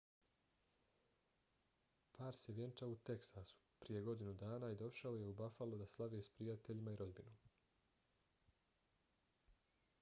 par se vjenčao u teksasu prije godinu dana i došao je u buffalo da slave s prijateljima i rodbinom